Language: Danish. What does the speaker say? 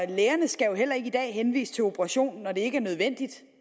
lægerne skal jo heller ikke i dag henvise til operation når det ikke er nødvendigt